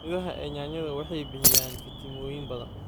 Midhaha ee yaanyada waxay bixiyaan fiitamiinno badan.